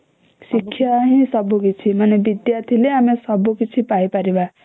ଶିକ୍ଷା ହିଁ ସବୁ କିଛି ମାନେ ବିଦ୍ୟା ଥିଲେ ଆମେ ସବୁ କିଛି ପାଇ ପାରିବା